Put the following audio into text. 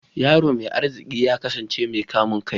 Yaron mai arziki ya kasance mai kamun kai